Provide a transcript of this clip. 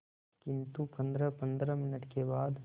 किंतु पंद्रहपंद्रह मिनट के बाद